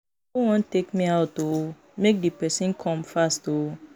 Who wan take me out oo? Make the person come fast oo